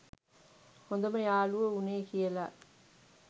හොදම යාලුවො උනේ කියල.